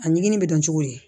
A ɲigin bɛ dɔn cogo di